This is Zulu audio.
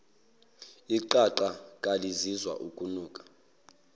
iqaqa kalizizwa ukunuka